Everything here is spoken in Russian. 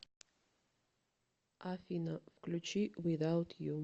афина включи визаут ю